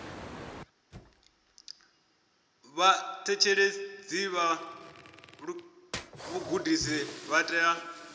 vhaṋetshedzi vha vhugudisi vha tea